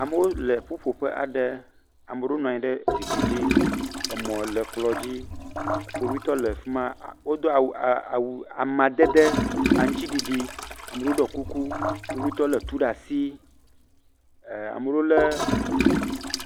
Amewo le ƒuƒoƒe aɖe. ame aɖewo nɔ anyi ɖe zikpui dzi. Emɔ le kplɔ dzi. Kpovitɔ le fi ma a wodo awu a ama amadede aŋtsiɖiɖi. amewo ɖɔ kuku, kpovitɔwo le etu ɖe asi e ame aɖewo le.